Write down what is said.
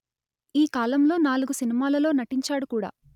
ఈ కాలంలో నాలుగు సినిమాలలో నటించాడు కూడా